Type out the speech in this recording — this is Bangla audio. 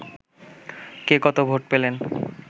কে কত ভোট পেলেন